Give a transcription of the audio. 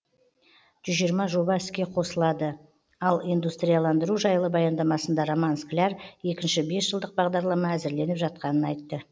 жүз жиырма жоба іске қосыладыал индустрияландыру жайлы баяндамасында роман скляр екінші бесжылдық бағдарлама әзірленіп жатқанын айтты